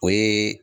O ye